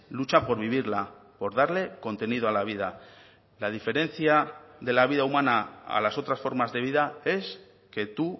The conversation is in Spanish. lucha por vivirla por darle contenido a la vida la diferencia de la vida humana a las otras formas de vida es que tú